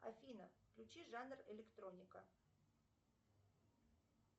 афина включи жанр электроника